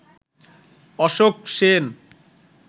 Ashok Sen